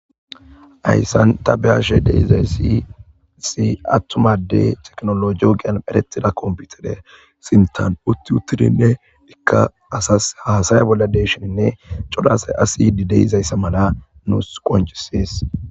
Hyssan ta beyashe deizay si si attumadey teknolo yo gian perettida komputere sintan putiutirinne ikka asas hasaya bolla deeshininne codasay asidi deizayssa mala nuus qoncisees.